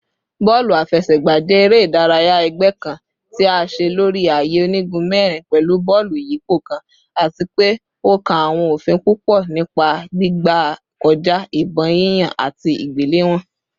Bọọlu afẹsẹgba jẹ ere-idaraya ẹgbẹ kan ti a ṣe lori aaye onigun mẹrin pẹlu bọọlu iyipo kan ati pe o kan awọn ofin pupọ nipa gbigbe kọja, ibon yiyan, ati igbelewọn